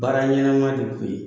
Baara ɲɛnama de